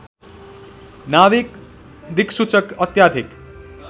नाविक दिक्सूचक अत्याधिक